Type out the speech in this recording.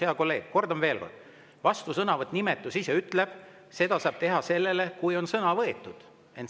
Hea kolleeg, kordan veel kord: vastusõnavõtu nimetus ise ütleb, et seda saab teha siis, kui on sõna võetud.